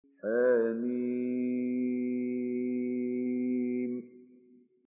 حم